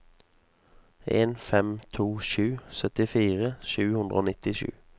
en fem to sju syttifire sju hundre og nittisju